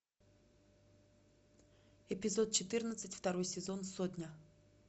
эпизод четырнадцать второй сезон сотня